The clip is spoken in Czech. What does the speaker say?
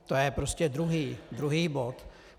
To je prostě druhý bod.